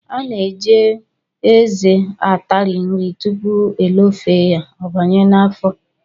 A na-eji eze atari nri tupu elofee ya, ọ banye n'afọ